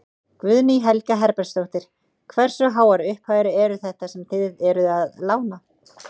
Guðný Helga Herbertsdóttir: Hversu háar upphæðir eru þetta sem þið eruð að lána?